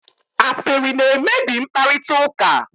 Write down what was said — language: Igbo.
asịrị na-emebi mkparịta ụka